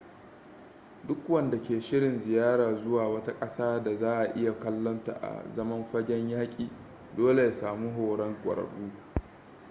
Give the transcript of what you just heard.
duk wanda ke shirin ziyara zuwa wata ƙasa da za a iya kallonta a zaman fagen yaƙi dole ya samu horon ƙwararru